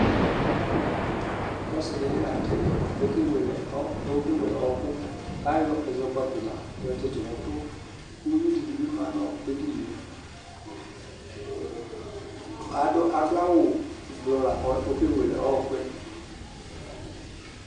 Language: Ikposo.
Ɔsi di bi la nʋ tɛdiɛ kʋ okewele ɔ, kʋ okewele ɔɔkʋ kʋ ayɔ ɛzɔkpako moa yɔtsitʋ nʋ ʋtʋ kʋ uwui dini bi ma nʋ edini e Adʋ, adʋ awʋ ʋblʋɔ la kʋ okewele ɔɔkʋ yɛ